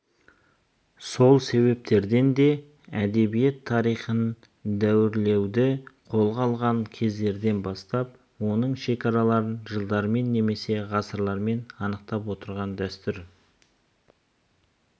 сол себептерден де әдебиет тарихын дәуірлеуді қолға алған кездерден бастап оның шекараларын жылдармен немесе ғасырлармен анықтап отырған дәстүр